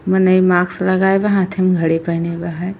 मने इ माक्स लगाए बा हाथे में घड़ी पेहने बा है।